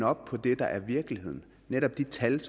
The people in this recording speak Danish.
op på det der er virkeligheden netop de tal